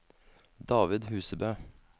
David Husebø